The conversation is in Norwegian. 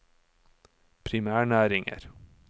primærnæringer